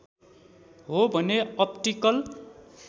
हो भने अप्टिकल